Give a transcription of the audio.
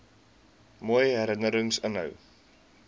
mooi herinnerings inhou